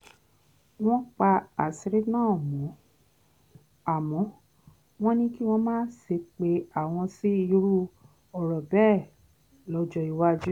wọ́n pa àṣírí náà mọ́ àmọ́ wọ́n ní kí wọ́n má ṣe pe àwọn sí irú ọ̀rọ̀ bẹ́ẹ̀ lọ́jọ́ iwájú